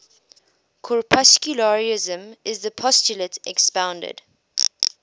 corpuscularianism is the postulate expounded